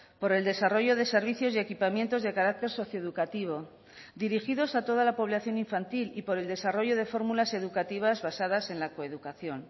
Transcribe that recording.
por el desarrollo de servicios y equipamientos de carácter socioeducativo dirigidos a toda la población infantil y por el desarrollo de formulas educativas basadas en la coeducación